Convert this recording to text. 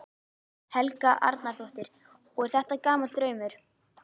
Helga Arnardóttir: Og er þetta gamall draumur?